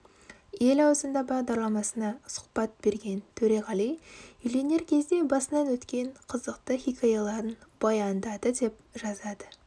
ел аузында бағдарламасына сұхбат берген төреғали үйленер кезде басынан өткен қызықты хикаяларын баяндады деп жазады